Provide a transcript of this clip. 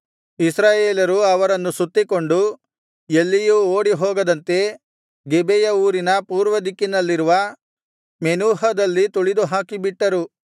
ಇಸ್ರಾಯೇಲರು ಅವರನ್ನು ಸುತ್ತಿಕೊಂಡು ಎಲ್ಲಿಯೂ ಓಡಿಹೋಗದಂತೆ ಗಿಬೆಯ ಊರಿನ ಪೂರ್ವದಿಕ್ಕಿನಲ್ಲಿರುವ ಮೆನೂಹದಲ್ಲಿ ತುಳಿದುಹಾಕಿಬಿಟ್ಟರು